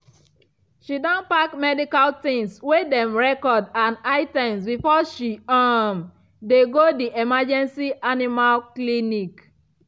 she don pack medical tins wey dem record and items before she um dey go the emergency animal clinic